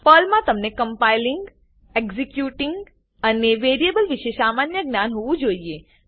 પર્લમા તમને compiling executing અને variable વિષે સામાન્ય જ્ઞાન હોવું જોઈએ